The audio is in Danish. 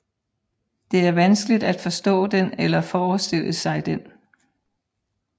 Det er vanskeligt at forstå den eller forestille sig den